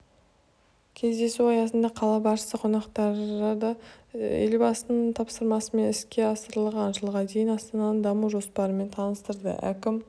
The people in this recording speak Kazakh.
кездесу аясында қала басшысы қонақтарды елбасының тапсырмасымен іске асырылған жылға дейінгі астананың даму жоспарымен таныстырды әкім